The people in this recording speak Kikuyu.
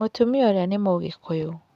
Mũtumia ũrĩa nĩ mũgĩkũyũ.